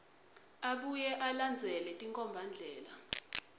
abuye alandzele tinkhombandlela